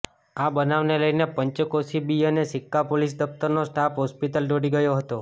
આ બનાવને લઇને પંચકોશી બી અને સિકકા પોલીસ દફતરનો સ્ટાફ હોસ્પિટલ દોડી ગયો હતો